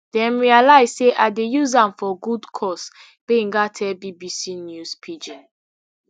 dem realise say i dey use am for good cause gbenga tell bbc news pidgin